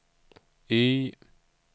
Y